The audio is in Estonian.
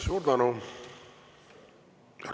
Suur tänu!